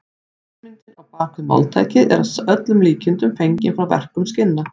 Hugmyndin á bak við máltækið er að öllum líkindum fengin frá verkun skinna.